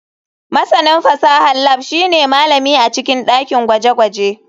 Masanin fasahar lab shine malami a cikin dakin gwaje-gwaje.